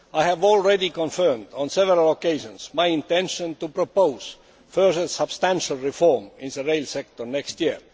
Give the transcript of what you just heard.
I have already confirmed on several occasions my intention to propose further substantial reform in the rail sector next year.